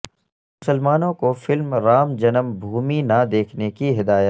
مسلمانوں کو فلم رام جنم بھومی نہ دیکھنے کی ہدایت